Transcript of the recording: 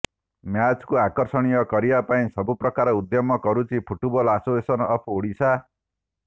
ମ୍ୟାଚକୁ ଆକର୍ଷଣୀୟ କରିବା ପାଇଁ ସବୁ ପ୍ରକାର ଉଦ୍ୟମ କରୁଛି ଫୁଟବଲ ଆସୋସିଏସନ ଅଫ୍ ଓଡିଶା